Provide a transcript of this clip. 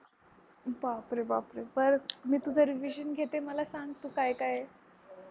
बापरे बापरे बरं मी तुझी revision घेते मला सांग तू काय काय आहे?